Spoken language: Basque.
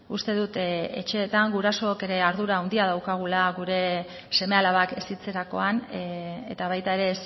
uste dut etxeetan gurasoek ere ardura handia daukagula gure seme alabak hezitzerakoan eta baita ere